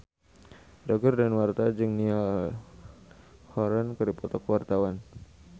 Roger Danuarta jeung Niall Horran keur dipoto ku wartawan